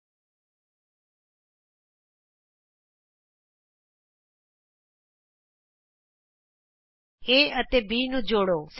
ਆਉ ਅਸੀਂ A ਅਤੇ C ਨੂੰ ਜੋੜੀਏ